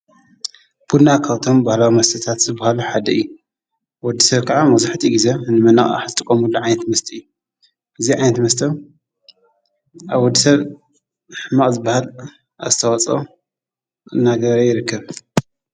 ቡና ካውቶም ብሃል መስትታት ዝብሃሉ ሓደኢ ወድሠር ከዓ መዙሕቲ ጊዜ እንመናእ ሓጥቆሙሉ ዓንት መስጢእኢ ጊዚ ዓንት መስተ ኣብ ወድሰር ሕማእዝባሃል ኣስተዋጾ ነገር ይርክብ።